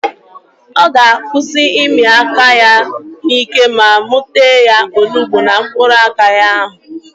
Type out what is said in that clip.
Ọ ga-akwụsị ịmị aka ya n'ike ma mụ tee ya onugbu na mkpụrụ aka ya ahụ